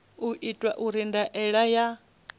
u itwa uri ndaela ya